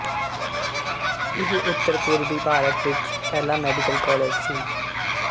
ਇਹ ਉੱਤਰ ਪੂਰਬੀ ਭਾਰਤ ਵਿੱਚ ਪਹਿਲਾ ਮੈਡੀਕਲ ਕਾਲਜ ਸੀ